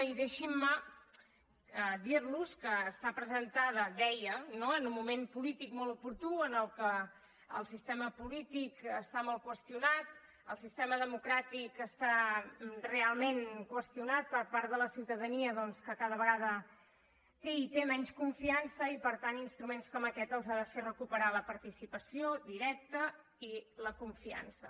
i deixin me dir los que està presentada deia no en un moment polític molt oportú en què el sistema polític està molt qüestionat el sistema democràtic està realment qüestionat per part de la ciutadania doncs que cada vegada té i té menys confiança i per tant instruments com aquest els ha de fer recuperar la participació directa i la confiança